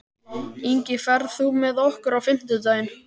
Ingi, ferð þú með okkur á fimmtudaginn?